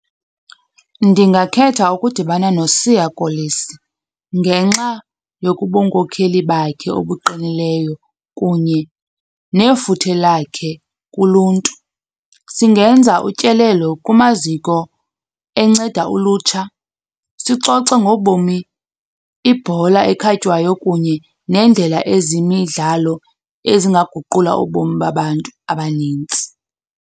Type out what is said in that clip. Ndingakhetha ukudibana noSiya Kolisi ngenxa yokubunkokheli bakhe obuqinileyo kunye nefuthe lakhe kuluntu. Singenza utyelelo kumaziko enceda ulutsha sixoxe ngobomi, ibhola ekhatywayo kunye nendlela ezemidlalo ezingaguqula ubomi babantu abanintsi.